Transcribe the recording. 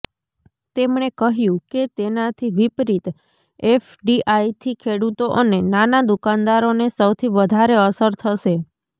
તેમણે કહ્યું કે તેનાથી વિપરીત એફડીઆઇથી ખેડુતો અને નાના દુકાનદારોને સૌથી વધારે અસર થશે